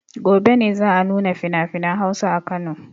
Gobe ne za a nuna finafinan Hausa a Kano.